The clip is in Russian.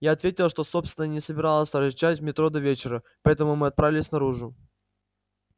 я ответила что собственно и не собиралась торчать в метро до вечера поэтому мы отправились наружу